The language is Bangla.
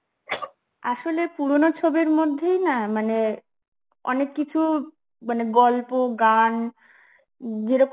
আসলে পুরনো ছবির মধ্যেই না মানে অনেক কিছু মানে গল্প গান যেরকম